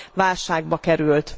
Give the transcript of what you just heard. válságba került.